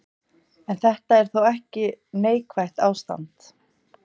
En þetta er þó ekki neikvætt ástand.